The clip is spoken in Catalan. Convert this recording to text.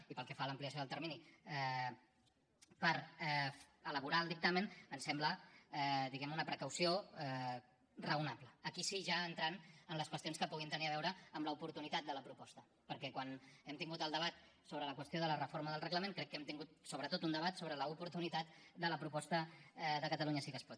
i pel que fa a l’ampliació del termini per elaborar el dictamen em sembla diguem ne una precaució raonable aquí sí ja entrant en les qüestions que puguin tenir a veure amb l’oportunitat de la proposta perquè quan hem tingut el debat sobre la qüestió de la reforma del reglament crec que hem tingut sobretot un debat sobre l’oportunitat de la proposta de catalunya sí que es pot